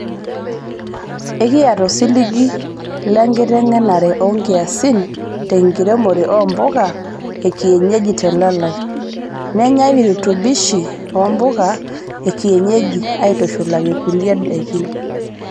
Ekiyata osiligi lenkiteng'enare oo nkiasin tenkiremore oo mpuka ekienyeji telalai, neenyae virutubishii ompuka ekienyeji aitushulaki kulie daikin.